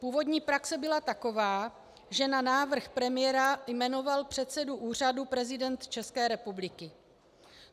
Původní praxe byla taková, že na návrh premiéra jmenoval předsedu úřadu prezident České republiky.